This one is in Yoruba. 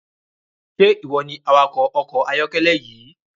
Ṣe iwọ ni awakọ ọkọ ayọkẹlẹ yii?